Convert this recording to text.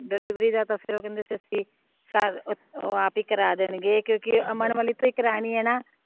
delivery ਦਾ ਤਾ ਫੇਰ ਉਹ ਕਹਿੰਦੇ ਉਹ ਆਪ ਹੀ ਕਰਾ ਦੇਣਗੇ ਕਿਉਂਕਿ ਅਮਨ ਵਾਲੀ ਤੋਂ ਹੀ ਕਰਾਨੀ ਏ ਨਾ